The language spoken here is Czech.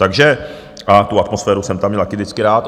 Takže... a tu atmosféru jsem tam měl taky vždycky rád.